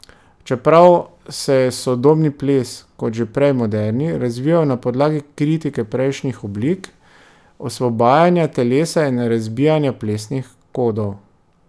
Čeprav se je sodobni ples, kot že prej moderni, razvijal na podlagi kritike prejšnjih oblik, osvobajanja telesa in razbijanja plesnih kodov.